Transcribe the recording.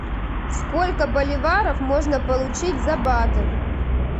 сколько боливаров можно получить за баты